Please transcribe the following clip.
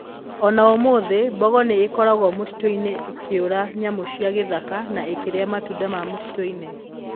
O na ũmũthĩ, mbogo nĩ ikoragwo mũtitũ-inĩ ikĩũra nyamũ cia gĩthaka na ikĩrĩa matunda ma mũtitũ-inĩ.